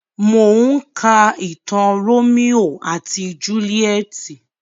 Mò ń ka ìtàn Rómíò àti Júlíétì.